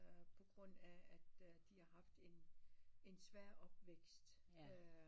På grund af at de har haft en svær opvækst